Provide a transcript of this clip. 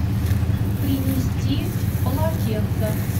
принести полотенце